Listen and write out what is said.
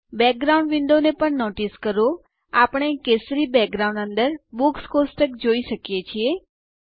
background window ને પણ notice કરો આપણે કેશરી બેકગ્રાઉન્ડ અંદર બુક્સ કોષ્ટક જોઈ શકીએ છીએ